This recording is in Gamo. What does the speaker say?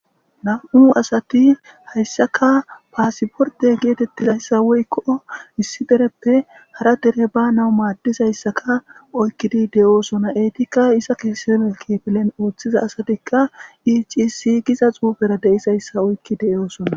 nam7u asati hayssaka paasiporte geetettizayssa woykko issi dereppe hara tere ba nawu maaddizayssaka oykkidi de7oosona eytikka isa keese melkifilen ooththiza asatikka icisi giza xuufera deisayssa oykki de7oosona